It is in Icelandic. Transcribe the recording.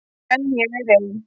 En ég er ein.